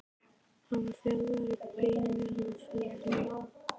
hann var þjálfaður í beinu aðferðinni.